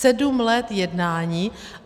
Sedm let jednání.